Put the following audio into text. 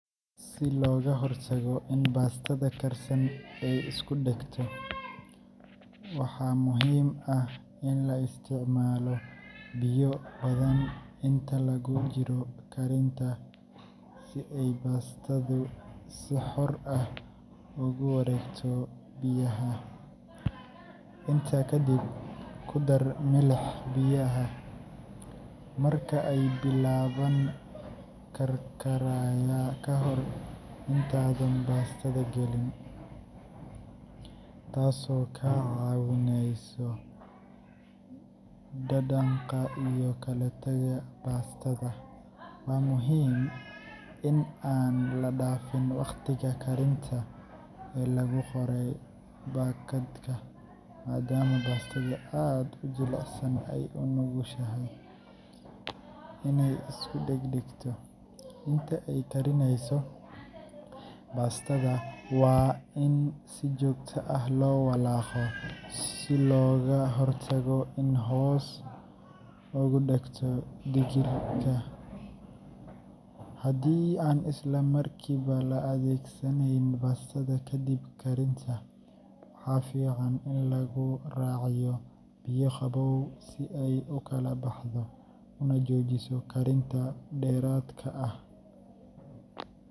Si looga hortago in baastada karsan ay isku dhegto, waxaa muhiim ah in la isticmaalo biyo badan inta lagu jiro karinta si ay baastadu si xor ah ugu wareegto biyaha. Intaa ka dib, ku dar milix biyaha marka ay bilaabaan karkaraya ka hor intaadan baastada gelin, taasoo ka caawinaysa dhadhanka iyo kala tagga baastada. Waa muhiim in aan la dhaafin waqtiga karinta ee lagu qoray baakadka, maadaama baastada aad u jilicsan ay u nugushahay inay isu dheg dhegto. Inta ay karinayso, baastada waa in si joogto ah loo walaaqo si looga hortago inay hoos ugu dhegto digirta. Haddii aan isla markiiba la adeegsanayn baastada kadib karinta, waxaa fiican in lagu raaciyo biyo qabow si ay u kala baxdo una joojiso karinta dheeraadka ah.